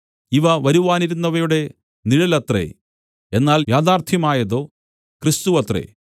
ഇവ വരുവാനിരുന്നവയുടെ നിഴലത്രേ എന്നാൽ യാഥാർത്ഥ്യമായതോ ക്രിസ്തുവത്രേ